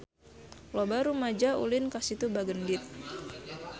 Loba rumaja ulin ka Situ Bagendit